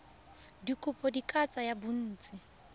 dikopo di ka tsaya bontsi